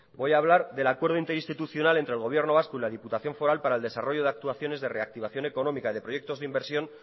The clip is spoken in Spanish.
voy hablar del acuerdo institucional entre el gobierno vasco y la diputación foral para el desarrollo de actuaciones de reactivación económica de proyectos de inversión